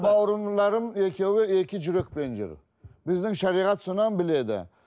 бауырларым екеуі екі жүрекпен жүр біздің шариғат біледі